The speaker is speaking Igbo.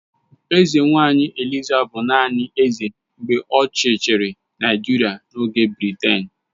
Eze nwaanyị Eliza bụ naanị eze mgbe ochie chịrị Naijiria n'ọchịchị Briten..